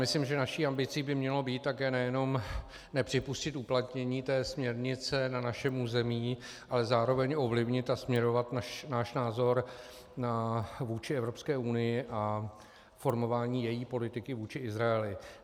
Myslím, že naší ambicí by mělo být také nejenom nepřipustit uplatnění té směrnice na našem území, ale zároveň ovlivnit a směrovat náš názor vůči Evropské unii a formování její politiky vůči Izraeli.